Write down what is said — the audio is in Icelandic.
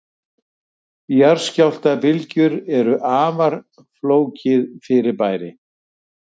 Jarðskjálftabylgjur eru afar flókið fyrirbæri.